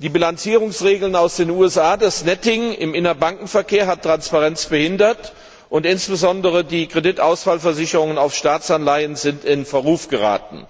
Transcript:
Die Bilanzierungsregeln aus den USA und das Netting im Innerbankenverkehr haben Transparenz behindert, und insbesondere die Kreditausfallversicherungen auf Staatsanleihen sind in Verruf geraten.